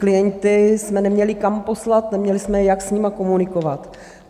Klienty jsme neměli kam poslat, neměli jsme jak s nimi komunikovat.